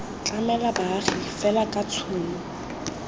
tlamela baagi fela ka tshono